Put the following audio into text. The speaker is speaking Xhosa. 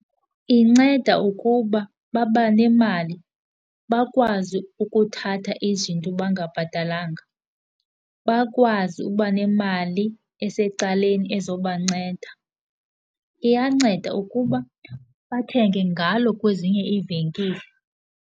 Inceda ukuba babanemali bakwazi ukuthatha izinto bangabhatalanga, bakwazi ukuba nemali esecaleni eza kubanceda, iyanceda ukuba bathenge ngalo kwezinye iivenkile.